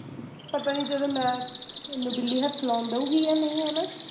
ਪਤਾ ਨੀ ਜਦੋਂ ਮੈਂ ਮੈਂਨੂੰ ਬਿੱਲੀ ਹੱਥ ਲਾਉਣ ਦਊਂਗੀ ਯਾ ਨਹੀਂ ਹੈਨਾ